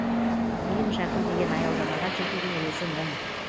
ең жақын деген аялдамаға жетудің өзі мұң